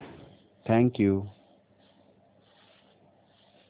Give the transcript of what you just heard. thank you